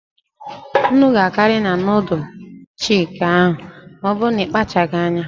Nnu ga-akarị na nudul chiki ahụ ma ọbụrụ na ịkpachaghị anya.